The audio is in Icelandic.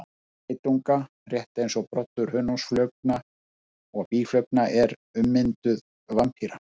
Broddur geitunga, rétt eins og broddur hunangsflugna og býflugna, er ummynduð varppípa.